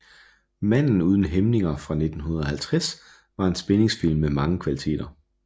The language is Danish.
Manden uden hæmninger fra 1950 var en spændingsfilm med mange kvaliteter